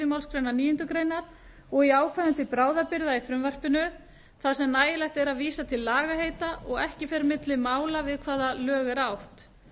málsgrein níundu greinar og í ákvæðum til bráðabirgða í frumvarpinu þar sem nægilegt er að vísa til lagaheita og ekki fer milli mála við hvaða lög er átt